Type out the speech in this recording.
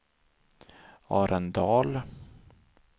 Arendal